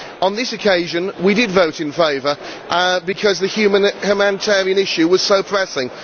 But on this occasion we did vote in favour, because the humanitarian issue was so pressing.